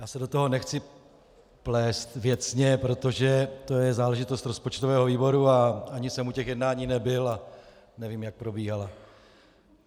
Já se do toho nechci plést věcně, protože to je záležitost rozpočtového výboru a ani jsem u těch jednání nebyl a nevím, jak probíhala.